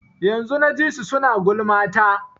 Yanzun na ji su suna gulma ta.